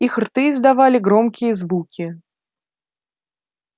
их рты издавали громкие звуки